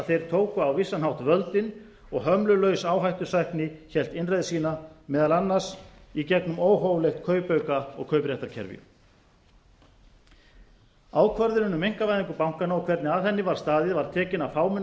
þeir tóku á vissan hátt völdin og hömlulaus áhættusækni hélt innreið sína meðal annars í engum óhóflegt kaupauka og kaupréttarkerfi ákvörðunin um einkavæðingu bankanna og hvernig að henni var staðið var tekin af fámennum